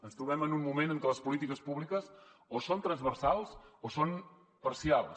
ens trobem en un moment en què les polítiques públiques o són transversals o són parcials